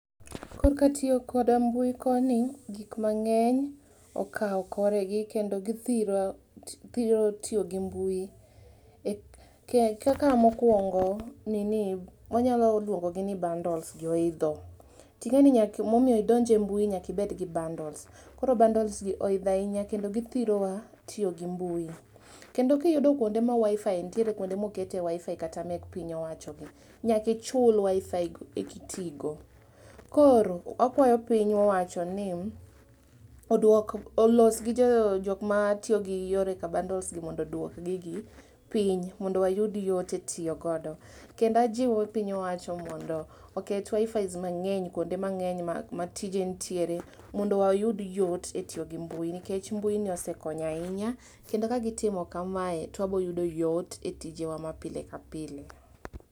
Korka tiyo koda mbui koni ,gik mangeny okao koregi kendo githiro, thiro tiyo gi mbui, kaka mokuongo, nini, wanyalo luongo gi ni bundles gi oidho, tingeni mondo idonj e mbui nyaka ibed gi bundles, koro bundles gi oidho ahinya kendo githirowa e tiyo gi mbui. Kendo kiyude kuonde ma Wifi nitiere, kunde ma okete Wifi kata mek piny owacho gi, nyaka ichul WiFi eki ti go. Koro , wakuayo piny owacho ni oduok, olos gi jok matiyo gi yore ka bundles gi mondo oduok gigi piny mondo wayud yot e tiyo godo. Kendo wajiwo piny owacho mondo oket wifi mangeny kuonde mangeny ma tije nitiere mondo wayud yot e tiyo gi mbui nikech mbui ni osekonyo ahinya kendo ka gitimokamae to wabo yudo yot e tijewa ma pile ka pile